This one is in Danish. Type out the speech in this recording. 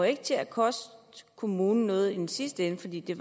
ikke til at koste kommunen noget i den sidste ende fordi det